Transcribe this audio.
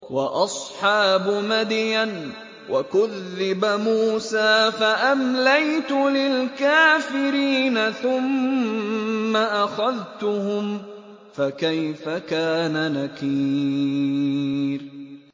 وَأَصْحَابُ مَدْيَنَ ۖ وَكُذِّبَ مُوسَىٰ فَأَمْلَيْتُ لِلْكَافِرِينَ ثُمَّ أَخَذْتُهُمْ ۖ فَكَيْفَ كَانَ نَكِيرِ